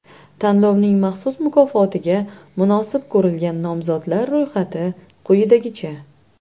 Tanlovning maxsus mukofotiga munosib ko‘rilgan nomzodlar ro‘yxati quyidagicha.